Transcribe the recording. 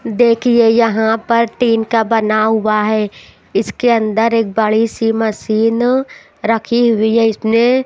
देखिए यहां पर टीन का बना हुआ है इसके अंदर एक बड़ी सी मसीन रखी हुई है इसमें--